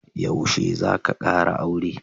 Yaushe za ka kara aure?